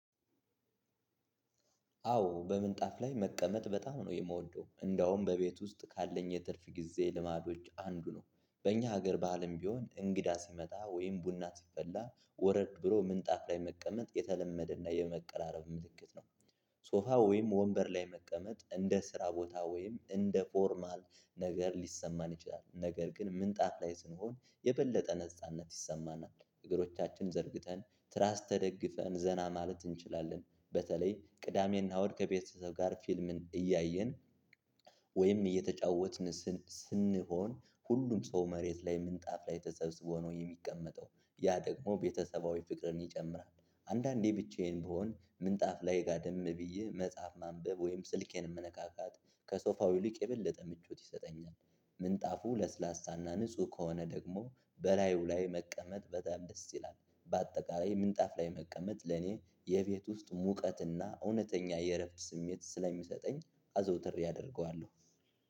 አዎ በምንጣፍ ላይ መቀመጥ በጣም ነው የምወደው እንደውም በቤት ውስጥ ካለኝ የትርፍ ጊዜ ልማዶች አንዱ ነው በእኛ ሀገር ባህልም ቢሆን እንግዳ ሲመጣ ወይም ቡና ሲፈላ ወረድ ብሎ ምንጣፍ ላይ መቀመጥ የተለመደና የመቀራረብ ምልክት ነው። ሶፋ ወይም ወንበር ላይ መቀመጥ እንደ ስራ ቦታ ወይም እንደ ኖርማል ነገር ሊሰማን ይችላል ነገር ግን ምንጣፍ ላይ ስንሆን የበለጠ ነጻነት ይሰማናል እግሮቻችን ዘርግተን ትራስ ተደግፈን ዘና ማለት እንችላለን። በተለይ ቅዳሜና እሁድ ከቤተሰብ ጋር ፊልምን እያየን ወይም እየተጫወትን ስንሆን ሁሉም ሰው መሬት ላይ ምንጣፍ ላይ ተሰብስቦ ነው የሚቀመጠው። ያ ደሞ ቤተሰባዊ ፍቅርን ይጨምራል። አንዳንዴ ብቻየን ብሆን ምንጣፍ ላይ ገደም ብዬ መፀሀፍ ማንበብ ወይም ስልኬን መነካካት ከሶፍው ይልቅ ምቾት ይሰጠኛል። ምንጣፉ ለስላሳና ንጹህ ከሆነ ደግሞ በላዩ ላይ መቀመጥ በጣም ደስ ይላል። በአጠቃላይ ምንጣፍ ላይ መቀመጥ ለኔ የቤት ውስጥ ሙቀትና እውነተኛ የእረፍት ስሜት ስለሚሰጠኝ አዘውትሬ አደርገዋለሁ።